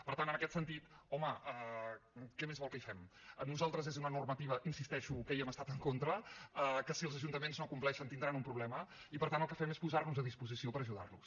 per tant en aquest sentit home què més vol que hi fem per nosaltres és una normativa hi insisteixo que hi hem estat en contra que si els ajuntaments no compleixen tindran un problema i per tant el que fem és posar nos a disposició per ajudar los